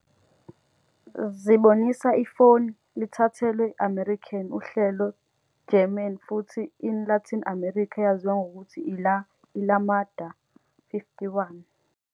zibonisa Ifoni, lithathelwe American uhlelo German futhi in Latin America eyaziwa ngokuthi iLa llamada.51